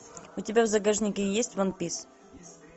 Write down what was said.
у тебя в загашнике есть уан пис